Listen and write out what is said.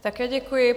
Také děkuji.